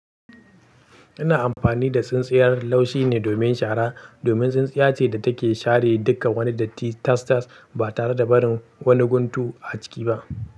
Ina amfani da tsintsiyar laushi ne domin shara, domin tsintsiya ce da take share duka wani dati tastas ba tare da barin wani guntu a ciki ba.